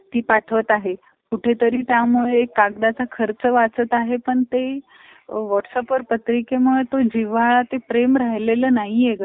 इतके मोठे business आहेत. आत्ता धीरूभाई अंबानीचे. इतके मोठे कि, direct अब्ज कोटी ह्याच्या वर income process जास्तीत जास्त income process त्याचे कोटी अब्ज वरचं